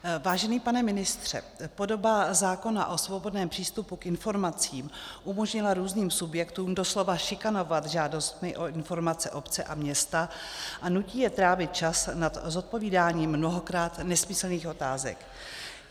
Vážený pane ministře, podoba zákona o svobodném přístupu k informacím umožnila různým subjektům doslova šikanovat žádostmi o informace obce a města a nutí je trávit čas nad zodpovídáním mnohokrát nesmyslných otázek.